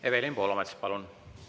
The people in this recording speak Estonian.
Evelin Poolamets, palun!